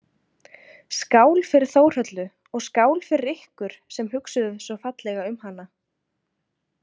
Skál fyrir Þórhöllu og skál fyrir ykkur sem hugsuðuð svo fallega um hana